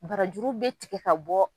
Barajuru bɛ tigɛ ka bɔ.